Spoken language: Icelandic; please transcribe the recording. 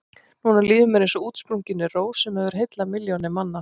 Núna líður mér eins og útsprunginni rós sem hefur heillað milljónir manna.